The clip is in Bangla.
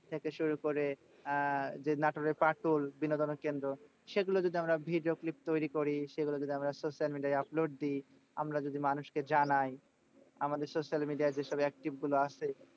থেকে শুরু করে আহ যে নাটোরের পাটোল বিনোদনের কেন্দ্র। সেগুলো যদি আমরা video clip তৈরী করি। সেগুলো যদি আমরা social media য় upload দিই। আমরা যদি মানুষকে জানাই। আমাদের social media য় যেসব active গুলো আছে,